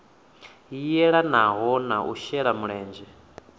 yelanaho na u shela mulenzhe